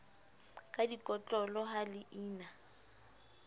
ka dikotlolo ha le ina